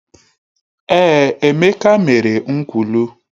Èé, Emeka mere nkwulu.